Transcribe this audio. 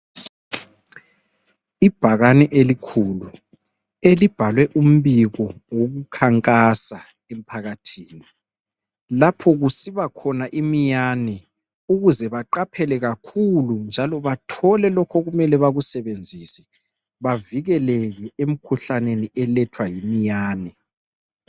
Ibhakani elikhulu elibhalwe umbiko wokukhankasa emphakathini lapho kusiba khona imiyani ukuze baqaphele kakhulu njalo bathole lokho okumele bakusebenzise bavikeleke emkhuhlaneni elethwa yimiyane .